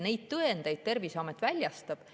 Neid tõendeid Terviseamet väljastab.